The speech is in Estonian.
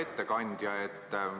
Hea ettekandja!